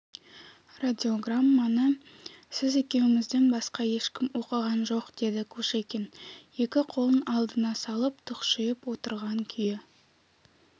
радиограмманы сіз екеумізден басқа ешкім оқыған жоқ деді кушекин екі қолын алдына салып тұқшиып отырған күйі